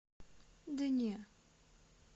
да не